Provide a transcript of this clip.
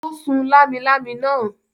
Ó sun lámilámi náà.